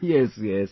yes, yes